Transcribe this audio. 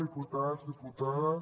diputats diputades